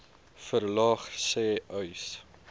verlaag sê uys